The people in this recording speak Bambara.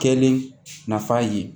Kɛlen nafa ye